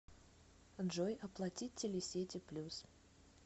джой оплатить телесети плюс